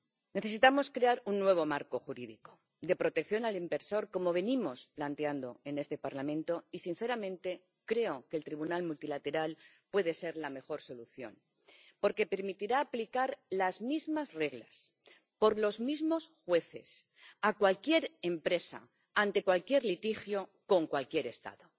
Necesitamos crear un nuevo marco jurídico de protección del inversor, como venimos planteando en este Parlamento y, sinceramente, creo que el tribunal multilateral puede ser la mejor solución, porque permitirá aplicar las mismas reglas por los mismos jueces a cualquier empresa ante cualquier litigio con cualquier Estado.